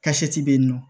be yen nɔ